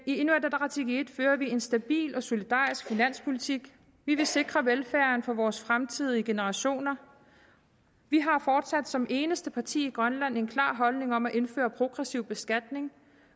inuit ataqatigiit fører vi en stabil og solidarisk finanspolitik vi vil sikre velfærden for vores fremtidige generationer vi har fortsat som eneste parti i grønland en klar holdning om at indføre progressiv beskatning